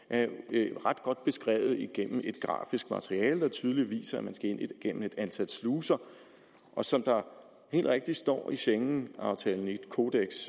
er jo ret godt beskrevet igennem et grafisk materiale der tydeligt viser at man skal ind igennem et antal sluser og som der helt rigtigt står i schengenaftalens kodeks